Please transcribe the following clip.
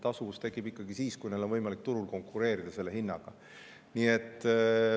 Tasuvus tekib ikkagi siis, kui neil on võimalik turul konkureerida selle hinnaga.